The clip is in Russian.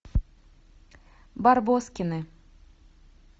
барбоскины